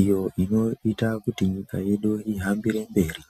iyo inoita kuti nyika yedu ihambire mberi.